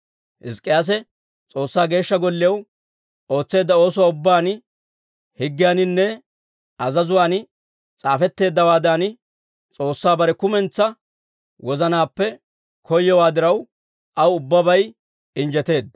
Hizk'k'iyaase S'oossaa Geeshsha Golliyaw ootseedda oosuwaa ubbaan, higgiyaaninne azazuwaan s'aafetteeddawaadan S'oossaa bare kumentsaa wozanaappe koyowaa diraw, aw ubbabay injjeteedda.